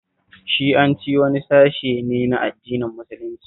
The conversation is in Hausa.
Shi'anci wani sashe ne na addinin musulunci